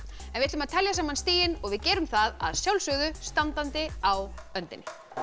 en við ætlum að telja saman stigin og við gerum það að sjálfsögðu standandi á öndinni